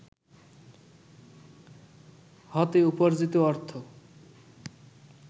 হতে উপার্জিত অর্থ